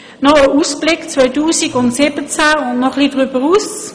Noch ein Ausblick auf 2017 und darüber hinaus: